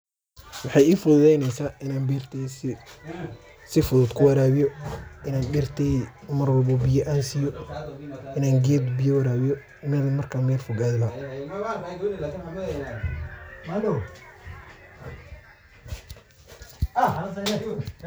Maxay ee fududeynasa ina berteyda sifudud kuwarabiyo ,ina beerteyda marwalbo biyo an siiyo, ina geed biiyo wara biiyo ina marka meel fog ado.